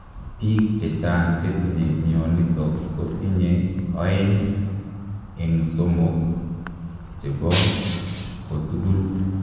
Piik chechang chetinye mionitok kotinye oeng eng somook chepoo kotugul